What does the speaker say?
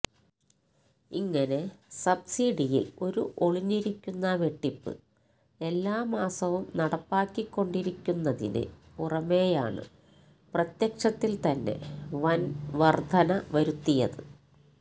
ഇങ്ങനെ സബസിഡിയില് ഒരു ഒളിഞ്ഞിരിക്കുന്ന വെട്ടിപ്പ് എല്ലാമാസവും നടപ്പാക്കിക്കൊണ്ടിരിക്കുന്നതിന് പുറമെയാണ് പ്രത്യക്ഷത്തില്ത്തന്നെ വന്വര്ധന വരുത്തിയത്